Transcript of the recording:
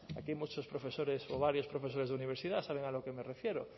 la aquí hay muchos profesores o varios profesores de universidad saben a lo que me refiero